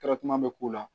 k'u la